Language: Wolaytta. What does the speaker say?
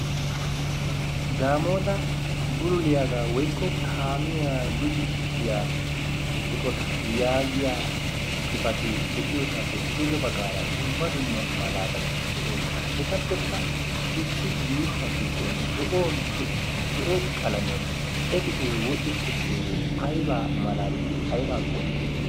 Daamoota buruliyaagaa woykko kaamiya luxisiyaa qota yaagiya xifatee de'iyoosaappe duge baggaara dumma dumma malaatati de7oosona. etappekka issi yuushuwaa giddon zo7o qalamiyan ekisee wodhdhi uttidoogee aybaa malaati aybaa qonccisi?